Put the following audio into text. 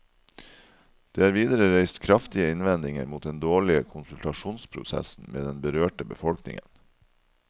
Det er videre reist kraftige innvendinger mot den dårlige konsultasjonsprosessen med den berørte befolkningen.